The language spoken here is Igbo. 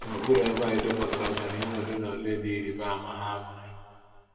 N’okpuru ebe a, e depụtara ọganihu ole na ole dị ịrịba ama ha nwere.